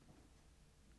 Bind 2.